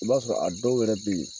I b'a sɔrɔ a dɔw wɛrɛ be yen